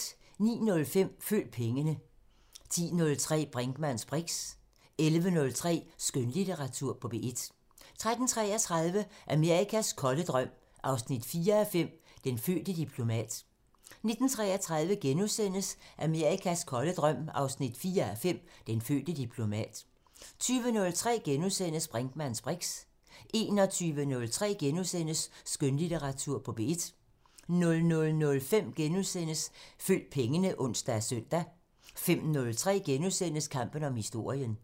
09:05: Følg pengene 10:03: Brinkmanns briks 11:03: Skønlitteratur på P1 13:33: Amerikas kolde drøm 4:5 – Den fødte diplomat 19:33: Amerikas kolde drøm 4:5 – Den fødte diplomat * 20:03: Brinkmanns briks * 21:03: Skønlitteratur på P1 * 00:05: Følg pengene *(ons og søn) 05:03: Kampen om historien *